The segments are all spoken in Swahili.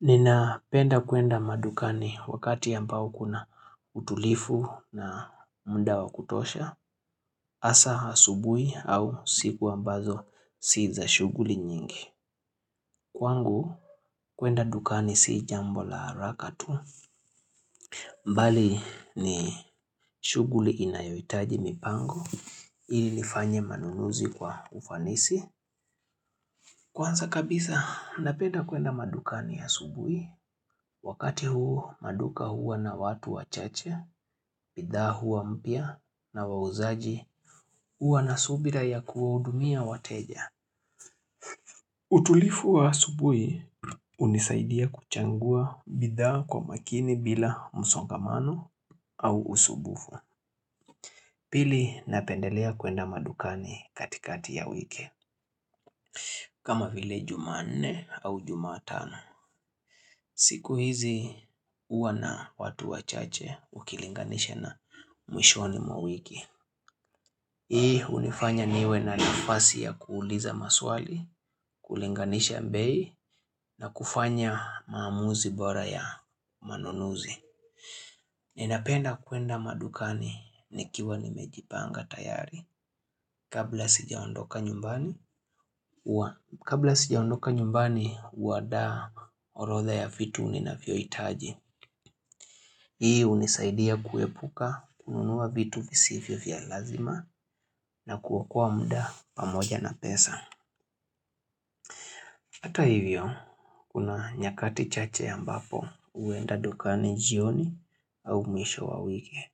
Ninapenda kuenda madukani wakati ambao kuna utulivu na muda wa kutosha. Hasa asubuhi au siku ambazo si za shughuli nyingi. Kwangu, kuenda dukani si jambo la haraka tu. Bali ni shughuli inayohitaji mipango. Ili nifanye manunuzi kwa ufanisi. Kwanza kabisa, napenda kuenda madukani asubuhi. Wakati huu maduka huwa na watu wachache, bidhaa huwa mpya na wauzaji, huwa na subira ya kuwahudumia wateja. Utulivu wa asubuhi hunisaidia kuchagua bidhaa kwa makini bila msongamano au usumbufu. Pili napendelea kuenda madukani katikati ya wiki. Kama vile Jumanne au Jumatano. Siku hizi huwa na watu wachache ukilinganisha na mwishoni mwa wiki. Hii hunifanya niwe na nafasi ya kuuliza maswali, kulinganisha bei na kufanya maamuzi bora ya manunuzi. Ninapenda kuenda madukani nikiwa nimejipanga tayari. Kabla sijaondoka nyumbani, hua kabla sijaondoka nyumbani, huandaa orodha ya vitu ninavyohitaji. Hii hunisaidia kuepuka kununua vitu visivyo vya lazima na kuokoa muda pamoja na pesa. Hata hivyo, kuna nyakati chache ambapo huenda dukani jioni au mwisho wa wiki.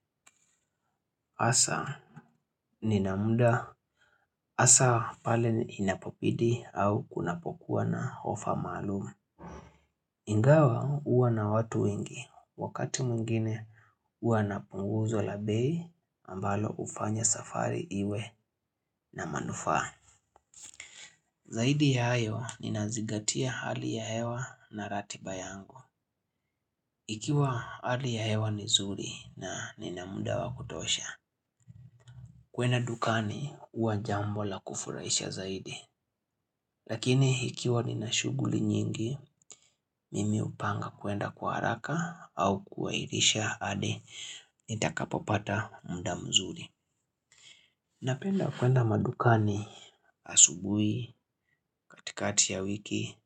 Hasa, nina muda, hasa pale inapobidi au kunapokuwa na ofa maalum. Ingawa huwa na watu wengi, wakati mwingine huwa na punguzo la bei ambalo hufanya safari iwe na manufaa. Zaidi ya hayo, ninazigatia hali ya hewa na ratiba yangu. Ikiwa hali ya hewa ni nzuri na nina muda wa kutosha. Kwenda dukani, huwa jambo la kufurahisha zaidi. Lakini ikiwa nina shughuli nyingi mimi hupanga kuenda kwa haraka au kuairisha hadi nitakapopata muda mzuri. Napenda kuenda madukani asubuhi katikati ya wiki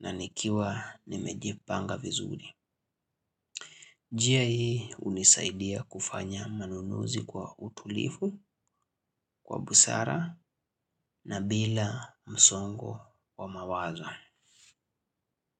na nikiwa nimejipanga vizuri. Njia hii hunisaidia kufanya manunuzi kwa utulivu, kwa busara na bila msongo wa mawazo.